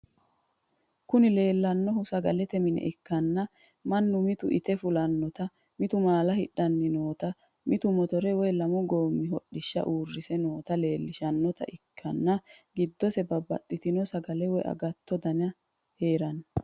Kuni leellannohu sagalete mine ikkanna mannu mitu ite fulannota mitu maala hidhanni noota mitu motore woy lamu goommi hodhishsha uurise noota leellishshannota ikkitanna gidose babaxitinno sagale woy agattote dani heeranno.